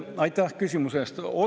Aitäh küsimuse eest!